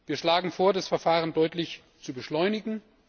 Wir schlagen vor, das Verfahren deutlich zu beschleunigen.